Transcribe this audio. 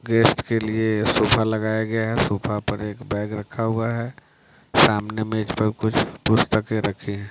Guest के लिए sofa लगाया गया है सोफा पर एक बैग रखा हुआ है शामने में इस पर कुछ पुस्तके रखी हैं ।